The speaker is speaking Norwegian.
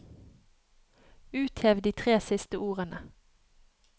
Uthev de tre siste ordene